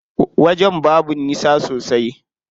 Wajen babu nisa sosai.